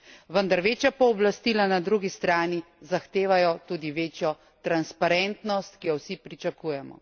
Vendar večja pooblastila na drugi strani zahtevajo tudi večjo transparentnost, ki jo vsi pričakujemo.